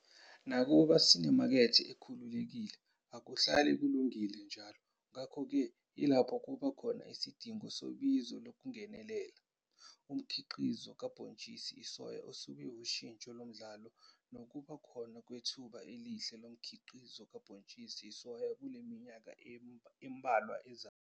Nakuba sinemakethe ekhululekile, akuhlali kulungile njalo, ngakho ke yilapho kuba khona isidingo sobizo lokungenelela. Umkhiqizo kabhontshisi isoya usube wushintsho lomdlalo nokuba khona kwethuba elihle lomkhiqizo kabhontshisi isoya kule minyakeni embalwa ezayo.